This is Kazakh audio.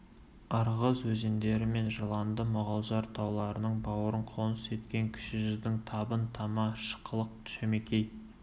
ырғыз өзендері мен жыланды мұғажар тауларының бауырын қоныс еткен кіші жүздің табын тама шықылық шөмекей